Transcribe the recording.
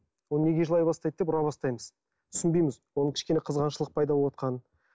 ол неге жылай бастайды деп ұра бастаймыз түсінбейміз оның кішкене қызғаншылық пайда болыватқанын